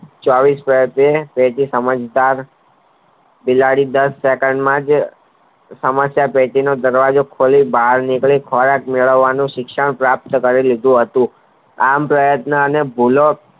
ચોવીશ વર્ષ તેથી સમજદાર બિલાડી દસ second માંજ સમસ્યા ટેટીનો દરવાજો ખોલી બહાર નિકરી ખોરાક મેળવવાનું શિક્ષણ પ્રાપ્ત કરી લીધું હતું આમ પ્રયાતો અને ભૂલો